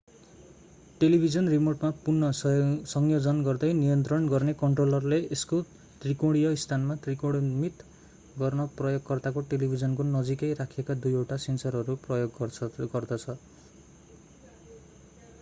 television रिमोटमा पुन संयोजन गर्दै नियन्त्रण गर्ने कन्ट्रोलरले यसको त्रिकोणिय स्थानमा त्रिकोणमित गर्न प्रयोगकर्ताको टेलिभिजनको नजिकै राखिएका दुईवटा सेन्सरहरू प्रयोग गर्दछ